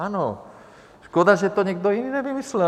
Ano, škoda, že to někdo jiný nevymyslel.